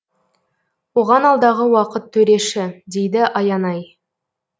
оған алдағы уақыт төреші дейді аянай